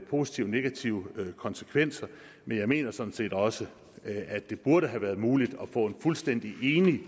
positive og negative konsekvenser men jeg mener sådan set også at det burde have været muligt at få et fuldstændig enigt